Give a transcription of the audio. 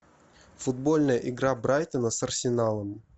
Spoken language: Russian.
футбольная игра брайтона с арсеналом